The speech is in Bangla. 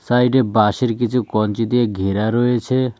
সাইডে বাসের কিছু কঞ্চি দিয়ে ঘেরা রয়েছে।